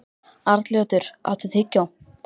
Arnljótur, áttu tyggjó?